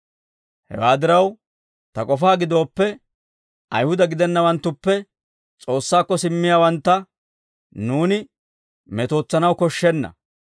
«Hewaa diraw, ta k'ofaa gidooppe, Ayihuda gidennawanttuppe S'oossaakko simmiyaawantta nuuni metootsanaw koshshenna.